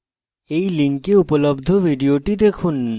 এই link উপলব্ধ video দেখুন